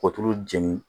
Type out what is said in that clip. Kɔ tulu jeni